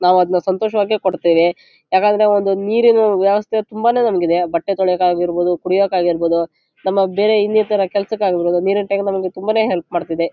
ನಾವು ಅದನ್ನು ಸಂತೋಷವಾಗಿ ಕೊಡತ್ತೇವೆ ಯಾಕಂದ್ರೆ ಒಂದು ನೀರಿನ ವ್ಯವಸ್ಥೆತುಂಬಾನೇ ನಮಗೆ ಇದೆ. ಬಟ್ಟೆತೊಳೆಯಕಾಗಿರಬಹುದು ಕುಡಿಯಕಾಗಿರಬಹುದು ನಮ್ಮ ಬೇರೆ ಇನ್ನಇತರ ಕೆಲಸ ಕೆ ಆಗಿರಬಹುದು ನೀರಿನ ಟ್ಯಾಂಕ್ ನಮಗೆ ತುಂಬಾನೇ ಹೆಲ್ಪ್ ಮಾಡತ್ತಿದೆ.